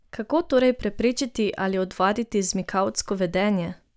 Kako torej preprečiti ali odvaditi zmikavtsko vedenje?